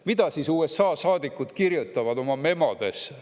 Mida siis USA saadikud kirjutavad oma memodesse?